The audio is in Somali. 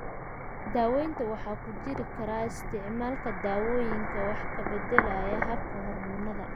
Daaweyntaan waxaa ku jiri kara isticmaalka daawooyinka wax ka beddelaya habka hormoonnada.